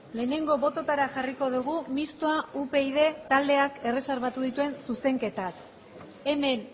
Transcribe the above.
lehenengo bototara jarriko dugu mistoa upyd taldeak erreserbatu dituen zuzenketak hemen